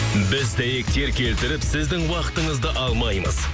біз дәйектер келтіріп сіздің уақытыңызды алмаймыз